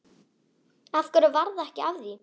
Af hverju varð ekki af því?